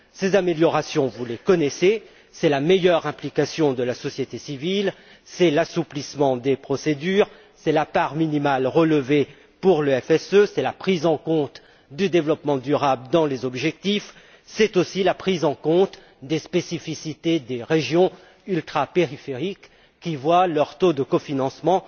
Ces améliorations, vous les connaissez meilleure implication de la société civile, assouplissement des procédures, part minimale relevée pour le FSE, prise en compte du développement durable dans les objectifs, mais aussi la prise en compte des spécificités des régions ultrapériphériques qui voient leur taux de cofinancement